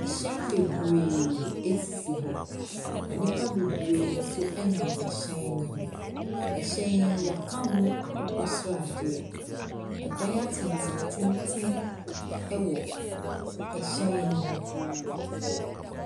Ɛhyɛn bebree asisi hɔ. Na nnipa bebree nso ɛnam ɛhyɛn ne ho. Ɛhyɛn yi y'aka ho akokɔsradeɛ. Ɛdan atenten atenten ɛwɔ ɛhyɛn ne ho.